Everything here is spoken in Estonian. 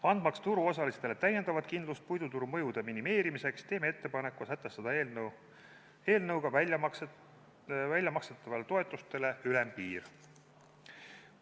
Andmaks turuosalistele täiendavat kindlust puiduturul tekkivate mõjude minimeerimiseks, teeme ettepaneku sätestada eelnõuga väljamakstavatele toetustele ülempiir.